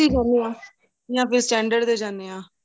ਉਥੇ ਹੀ ਜਾਣੇ ਹਾਂ ਜਾਂ ਫ਼ਿਰ standard ਤੇ ਜਾਣੇ ਹਾਂ